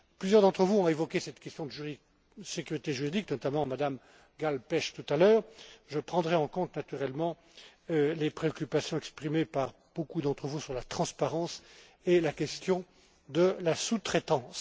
Plusieurs d'entre vous ont évoqué cette question de la sécurité juridique, notamment Mme Gáll Pelcz tout à l'heure. Je prendrai en compte naturellement les préoccupations exprimées par beaucoup d'entre vous sur la transparence et la question de la sous traitance.